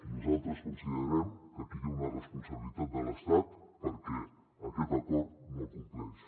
nosaltres considerem que aquí hi ha una responsabilitat de l’estat perquè aquest acord no el compleix